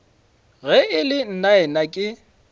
ge e le nnaena ke